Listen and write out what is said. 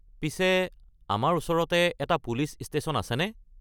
পিছে আমাৰ ওচৰতে এটা পুলিচ ষ্টেশ্যন আছেনে?